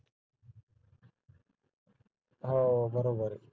हो बरोबर आहे